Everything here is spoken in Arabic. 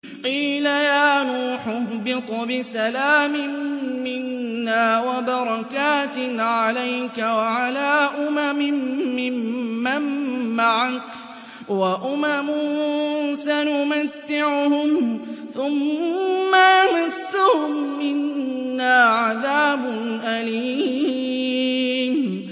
قِيلَ يَا نُوحُ اهْبِطْ بِسَلَامٍ مِّنَّا وَبَرَكَاتٍ عَلَيْكَ وَعَلَىٰ أُمَمٍ مِّمَّن مَّعَكَ ۚ وَأُمَمٌ سَنُمَتِّعُهُمْ ثُمَّ يَمَسُّهُم مِّنَّا عَذَابٌ أَلِيمٌ